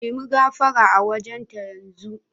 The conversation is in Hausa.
Nemi gafara a wajen ta yanzu.